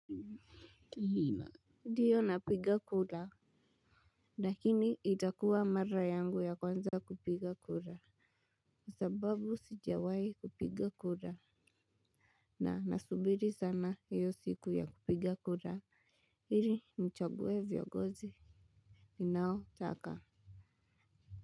Ndiyo napiga kura. Lakini itakuwa mara yangu ya kwanza kupiga kura. Ni sababu sijawai kupiga kura. Na nasubiri sana hiyo siku ya kupiga kura. Ili nichague viongozi. Ninaotaka.